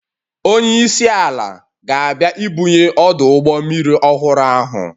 Onye isi ala ga-abịa ibunye ọdụ ụgbọ mmiri ọhụrụ ahụ